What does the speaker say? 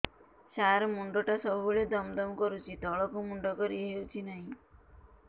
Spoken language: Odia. ସାର ମୁଣ୍ଡ ଟା ସବୁ ବେଳେ ଦମ ଦମ କରୁଛି ତଳକୁ ମୁଣ୍ଡ କରି ହେଉଛି ନାହିଁ